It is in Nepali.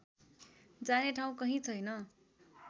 जाने ठाउँ कहीँ छैन